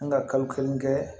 An ka kalo kelen kɛ